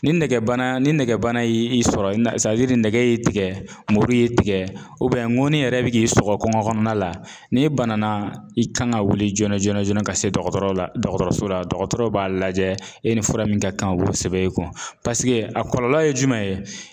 Ni nɛgɛbana ni nɛgɛbana y'i i sɔrɔ ni nɛgɛ y'i tigɛ muru y'i tigɛ ŋɔni yɛrɛ bɛ k'i sɔgɔ kɔngɔ kɔnɔna la, n'i banana i kan ka wili joona joona joona ka se dɔgɔtɔrɔ la dɔgɔtɔrɔso la dɔgɔtɔrɔ b'a lajɛ e ni fura min ka kan o bɛ sɛbɛn i kun paseke a kɔlɔlɔ ye jumɛn ye ?